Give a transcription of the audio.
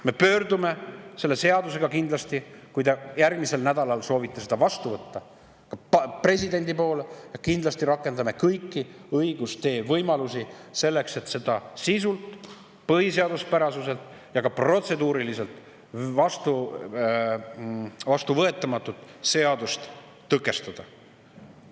Me pöördume selle seadusega kindlasti, kui te järgmisel nädalal soovite selle vastu võtta, presidendi poole ja kindlasti rakendame kõiki õigustee võimalusi selleks, et seda sisult, põhiseaduspärasuselt ja ka protseduuriliselt vastuvõetamatut seadust tõkestada.